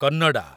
Kannada